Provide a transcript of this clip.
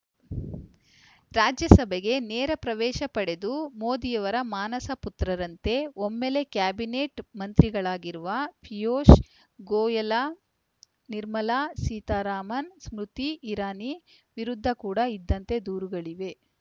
ರಾಜ್ಯಸಭೆಗೆ ನೇರ ಪ್ರವೇಶ ಪಡೆದು ಮೋದಿಯವರ ಮಾನಸ ಪುತ್ರರಂತೆ ಒಮ್ಮೆಲೇ ಕ್ಯಾಬಿನೆಟ್‌ ಮಂತ್ರಿಗಳಾಗಿರುವ ಪಿಯೂಷ್‌ ಗೋಯಲ ನಿರ್ಮಲಾ ಸೀತಾರಾಮನ್‌ ಸ್ಮೃತಿ ಇರಾನಿ ವಿರುದ್ಧ ಕೂಡ ಇಂಥದ್ದೇ ದೂರುಗಳಿವೆ